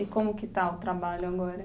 E como que está o trabalho agora?